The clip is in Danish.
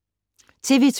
TV 2